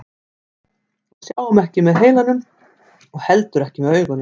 Við sjáum ekki með heilanum og heldur ekki með augunum.